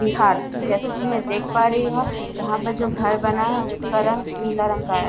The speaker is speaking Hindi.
बिहार जैसे की मैं देख पा रही हूँ यहाँ पर जो घर बना है उसका रंग नीला रंग का है।